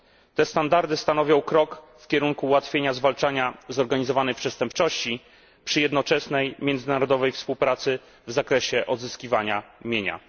Te standardy stanowią krok w kierunku ułatwienia zwalczania zorganizowanej przestępczości przy jednoczesnej międzynarodowej współpracy w zakresie odzyskiwania mienia.